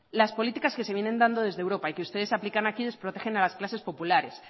las políticas que se vienen dando desde europa y que ustedes aplican aquí desprotegen a las clases populares